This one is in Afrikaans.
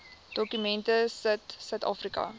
dokument sit suidafrika